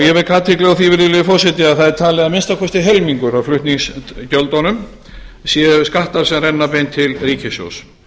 virðulegi forseti að talið er að að minnsta kosti helmingur af flutningsgjöldunum séu skattar sem renna beint til ríkissjóðs